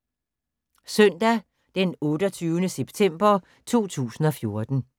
Søndag d. 28. september 2014